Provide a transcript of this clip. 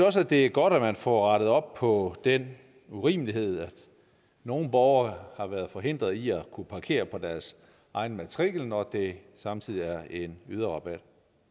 også at det godt at man får rettet op på den urimelighed at nogle borgere har været forhindret i at kunne parkere på deres egen matrikel når den samtidig er en yderrabat